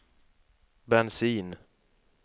bensin